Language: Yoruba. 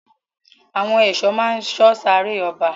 Àwọn èso ma sọ sáré ọba.